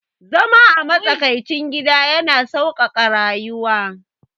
Zama a matsakaicin gida yana sauƙaƙa rayuwa